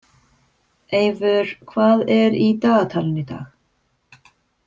Eivör, hvað er í dagatalinu í dag?